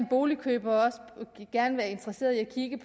boligkøber er interesseret i at kigge